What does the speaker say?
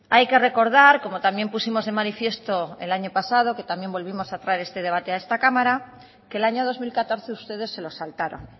hay que recordar como también pusimos de manifiesto el año pasado que también volvimos a traer este debate a esta cámara que el año dos mil catorce ustedes se lo saltaron